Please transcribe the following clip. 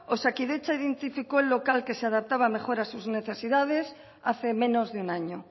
osakidetza identificó el local que se adaptaba mejor a sus necesidades hace menos de un año